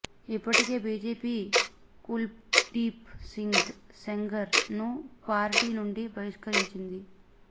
ఇప్పటికే బీజేపీ కుల్దీప్ సింగ్ సెంగర్ ను పార్టీ నుండి బహిష్కరించింది